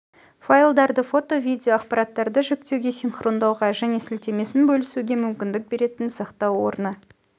файлдарды фото видео ақпараттарды жүктеуге синхрондауға және сілтемесін бөлісуге мүмкіндік беретін сақтау орыны